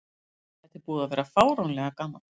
Þetta er búið að vera fáránlega gaman.